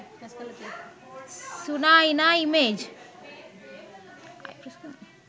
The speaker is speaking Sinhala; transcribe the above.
sunaina image